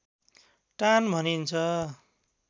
टान भनिन्छ